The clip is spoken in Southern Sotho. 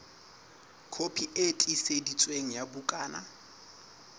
kopi e tiiseditsweng ya bukana